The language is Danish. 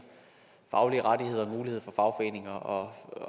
faglige rettigheder og muligheder at fagforeninger og